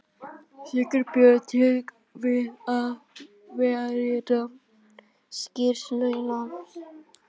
Sigurbjörn til við að vélrita skýrsluna.